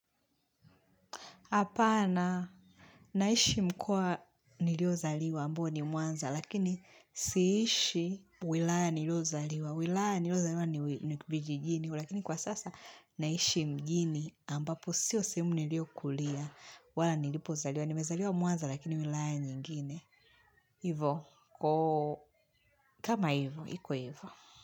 Hapana, naishi mkoa niliozaliwa ambo ni mwanza, lakini siishi wilaya niliozaliwa. Wilaya niliozaliwa ni vijijini, lakini kwa sasa naishi mjini ambapo sio sehemu niliokulia wala nilipozaliwa. Nimezaliwa mwanza lakini wilaya nyingine. Hivo, kama hivo, iko hivo.